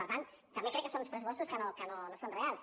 per tant també crec que són uns pressupostos que no són reals